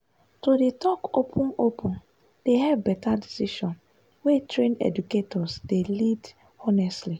to dey talk open-open dey help better decision wey trained educators dey lead honestly.